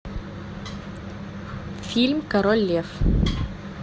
фильм король лев